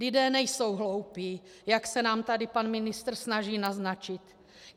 Lidé nejsou hloupí, jak se nám tady pan ministr snaží naznačit.